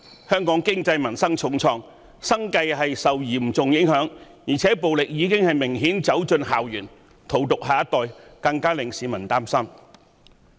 香港經濟民生受到重創，市民生計嚴重受影響，而且暴力已明顯走進校園，荼毒下一代，令市民更加擔心。